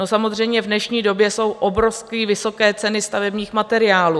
No samozřejmě v dnešní době jsou obrovsky vysoké ceny stavebních materiálů.